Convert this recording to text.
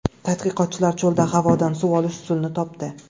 Tadqiqotchilar cho‘lda havodan suv olish usulini topdi.